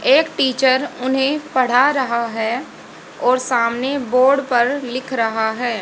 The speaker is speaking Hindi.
एक टीचर उन्हें पढ़ा रहा है और सामने बोर्ड पर लिख रहा है।